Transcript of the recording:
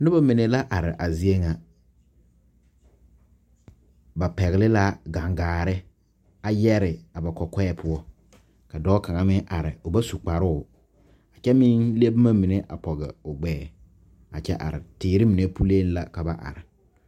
Noba mine la are a zie ŋa ba pɛgle la gangaare a yɛre a ba kɔkɔɛ poɔ ka dɔɔ kaŋ meŋ are o ba su kparoo a kyɛ meŋ le boma mine a pɔge o gbɛɛ a kyɛ are teere mine puliŋ la ka ba are.